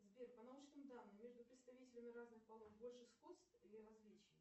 сбер по научным данным между представителями разных полов больше сходств или различий